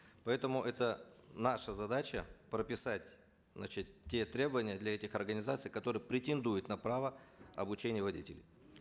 поэтому это наша задача прописать значит те требования для этих организаций которые претендуют на право обучения водителей